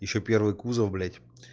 ещё первый кузов блять